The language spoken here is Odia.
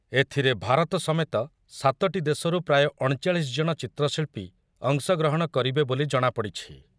ଏଥିରେ ଭାରତ ସମେତ ସାତୋଟି ଦେଶରୁ ପ୍ରାୟ ଅଣଚାଳିଶ ଜଣ ଚିତ୍ରଶିଳ୍ପୀ ଅଂଶଗ୍ରହଣ କରିବେ ବୋଲି ଜଣାପଡି଼ଛି।